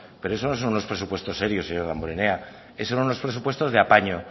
pero eso no son los presupuestos serios señor damborenea son unos presupuestos de apaño